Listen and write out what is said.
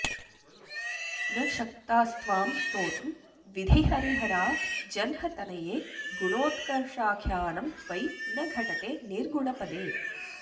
न शक्तास्त्वां स्तोतुं विधिहरिहरा जह्नतनये गुणोत्कर्षाख्यानं त्वयि न घटते निर्गुणपदे